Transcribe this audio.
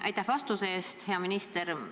Aitäh vastuse eest, hea minister!